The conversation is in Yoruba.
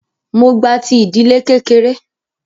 Mó gba ti ìdílé kékeré.